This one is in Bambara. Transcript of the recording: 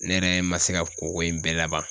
Ne yɛrɛ ma se ka ko ko in bɛɛ laban